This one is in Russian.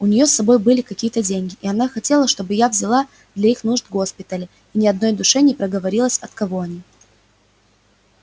у неё с собой были какие-то деньги и она хотела чтобы я взяла для их нужд госпиталя и ни одной душе не проговорилась от кого они